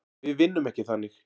Við vinnum ekki þannig.